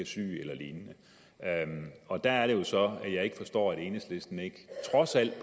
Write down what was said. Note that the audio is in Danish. syg eller lignende og der er det jo så jeg ikke forstår at enhedslisten ikke